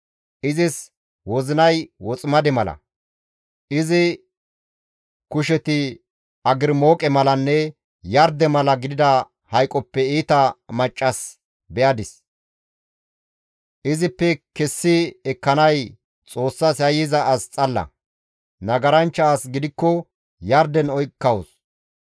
Izis wozinay woximade mala, izi kusheti agrimooqe malanne yarde mala gidida hayqoppe iita maccas be7adis; izippe kessi ekkanay Xoossas yayyiza as xalla; nagaranchcha as gidikko yarden oykkawus.